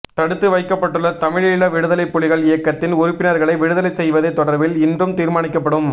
தடுத்து வைக்கப்பட்டுள்ள தமிழீழ விடுதலைப் புலிகள் இயக்கத்தின் உறுப்பினர்களை விடுதலை செய்வது தொடர்பில் இன்று தீர்மானிக்கப்படும்